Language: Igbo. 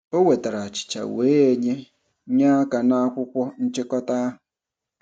O wetara achịcha wee nye nye aka n'akwụkwọ nchịkọta ahụ.